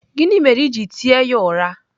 Gịnị mere i ji tie ya ụra?